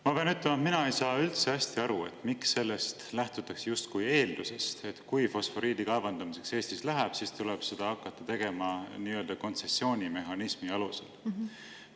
Ma pean ütlema, et mina ei saa üldse hästi aru, miks lähtutakse sellest justkui eeldusest, et kui Eestis läheb fosforiidi kaevandamiseks, siis tuleb seda hakata tegema nii-öelda kontsessioonimehhanismi alusel.